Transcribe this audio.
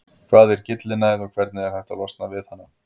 Hvað er gyllinæð og hvernig er hægt að losna við hana?